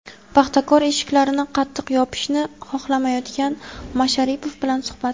"Paxtakor" eshiklarini qattiq yopishni xohlamayotgan Masharipov bilan suhbat.